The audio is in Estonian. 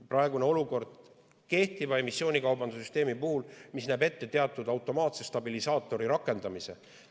Praegune olukord näeb kehtiva emissioonikaubanduse süsteemi puhul ette teatud automaatse stabilisaatori rakendamise.